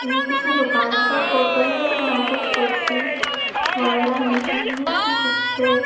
ये किसी दुकान का फोटो है जहां पर कुर्सी वगैरा मिलती है जिसपे --